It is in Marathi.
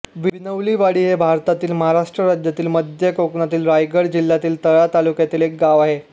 विनवलीवाडी हे भारतातील महाराष्ट्र राज्यातील मध्य कोकणातील रायगड जिल्ह्यातील तळा तालुक्यातील एक गाव आहे